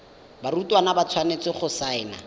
barutwana ba tshwanetse go saena